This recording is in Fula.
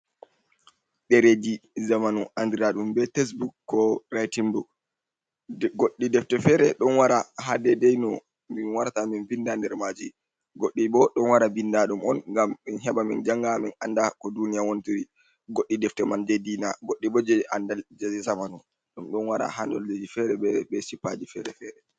Ɗereeji zamanu andira ɗum be tesbuk ko ritingbuk goɗɗi defte feere ɗon wara ha dei dei no min warata min binda nder maaji, goɗɗi bo ɗon wara bindaa ɗum on ngam min heɓa min janga min anda ko duniya wontiri, goɗɗi defte man jei diina, goɗɗi bo jei andal jei ji zamanu ɗum ɗon wara ha dolleji fere be sippaji fere-fere.